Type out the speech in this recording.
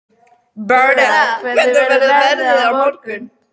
Bertha, hvernig verður veðrið á morgun?